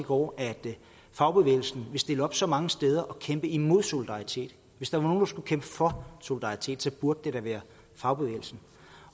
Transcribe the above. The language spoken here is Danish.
over at fagbevægelsen vil stille op så mange steder og kæmpe imod solidaritet hvis nogle skulle kæmpe for solidaritet burde det da være fagbevægelsen